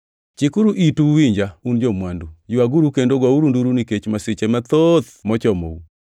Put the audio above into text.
Chikuru itu uwinja, un jo-mwandu! Ywaguru kendo gouru nduru nikech masiche mathoth mochomou.